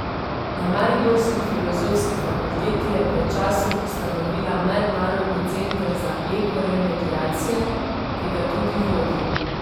Na mariborski filozofski fakulteti je pred časom ustanovila Mednarodni center za ekoremediacije, ki ga tudi vodi.